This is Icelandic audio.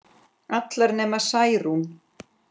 Allar nema Særún